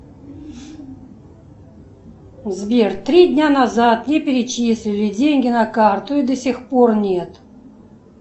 сбер три дня назад мне перечислили деньги на карту и до сих пор нет